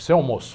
Sem almoço.